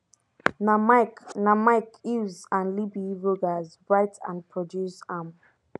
na mike na mike hills and libby rogers write and produce am